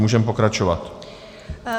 Můžeme pokračovat.